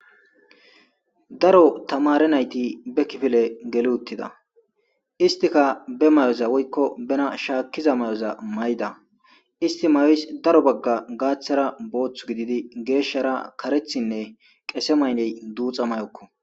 Daro tamare nayti be kifile geli uttida istika be may'oza woykko bena shaakkiza may'oza mayda isti mayoys daro bagga gaaththara boothth gididi geeshshara karethinne qese mayney duuxa may'okko.